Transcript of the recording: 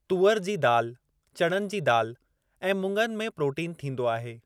तूअर जी दाल ,चणनि जी दाल ऐं मुङनि में प्रोटीन थींदो आहे।